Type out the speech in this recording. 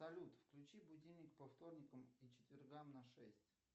салют включи будильник по вторникам и четвергам на шесть